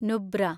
Nubra